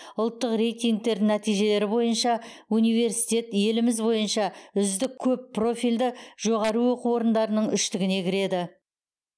ұлттық рейтингтердің нәтижелері бойынша университет еліміз бойынша үздік көппрофильді жоғары оқу орындарының үштігіне кіреді